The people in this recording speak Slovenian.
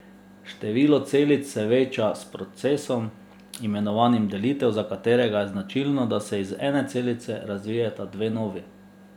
Število celic se veča s procesom, imenovanem delitev, za katerega je značilno, da se iz ene celice razvijeta dve novi.